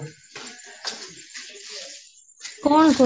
କଣ ସବୁ